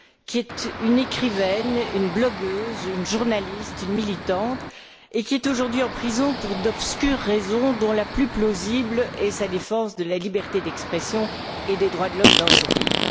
C'est une écrivaine, une blogueuse, une journaliste, une militante qui est aujourd'hui en prison pour d'obscures raisons, dont la plus plausible est le fait qu'elle défende la liberté d'expression et les droits de l'homme dans son pays.